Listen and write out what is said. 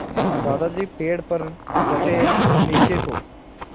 दादाजी पेड़ पर डटे नीचे को